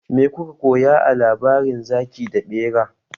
Me kuka koya a labarin zaki da bera?